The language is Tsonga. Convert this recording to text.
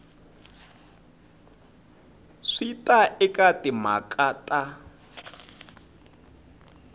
swi ta eka timhaka ta